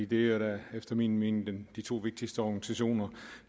det er jo da efter min mening de to vigtigste organisationer